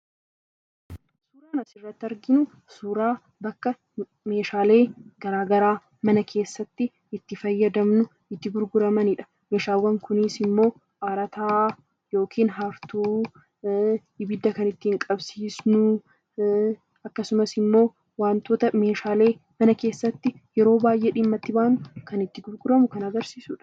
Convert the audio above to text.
Suuraan as irratti arginu suuraa bakka meeshaalee garaa garaa mana keessatti itti fayyadamnu itti gurguramanidha. Meeshaaleen kunis immoo harataa yookiin hartuu, ibidda kan ittiin qabsiisnu, akkasumas immoo meeshaalee yeroo baay'ee mana keessatti dhimma itti baanu kan itti gurguramu kan agarsiisudha.